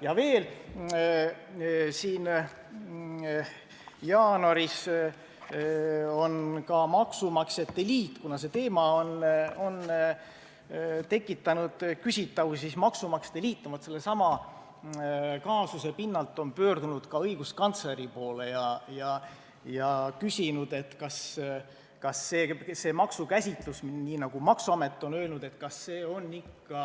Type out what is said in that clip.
Ja veel: kuna see teema on tekitanud küsitavusi, siis maksumaksjate liit on jaanuaris sellesama kaasuse pinnalt pöördunud õiguskantsleri poole ja küsinud, kas see maksukäsitus, nii nagu maksuamet on teada andnud, on ikka